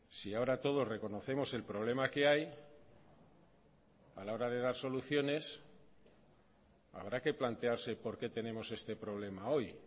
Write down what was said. si ahora todos reconocemos el problema que hay a la hora de dar soluciones habrá que plantearse por qué tenemos este problema hoy